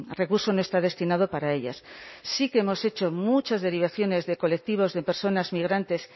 recurso no está destinado para ellas sí que hemos hecho muchas derivaciones de colectivos de personas migrantes